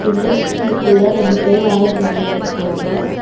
Industry குள்ள ரெண்டு பேரு வேல செஞ்சிட்டுருக்காங்க.